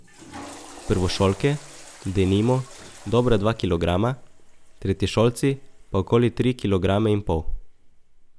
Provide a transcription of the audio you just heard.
Prvošolke, denimo, dobra dva kilograma, tretješolci pa okoli tri kilograme in pol.